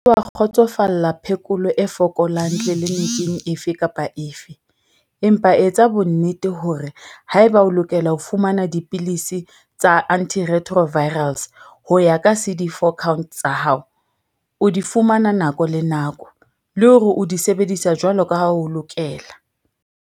Se ke wa kgotsofalla phekolo e fokolang tlelenikeng efe kapa efe, empa etsa bonnete hore haeba o lokela ho fumana dipilisi tsa anti-retro virals, ARV, ho ya ka cd 4 count tsa hao, o di fumana nako le nako, le hore o di sebedisa jwalo ka ha ho lokela.